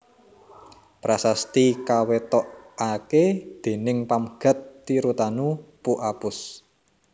Prasasti kawetokaké déning Pamgat Tirutanu Pu Apus